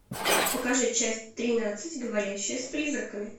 покажи часть тринадцать говорящая с призраками